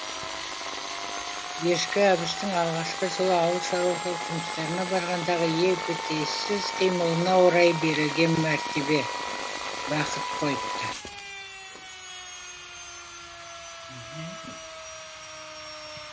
ешкі әбіштің алғашқы жылы ауыл шаруашылық жұмыстарына барғандағы епетейсіз қимылына орай берілген мәртебе бақыт қойыпты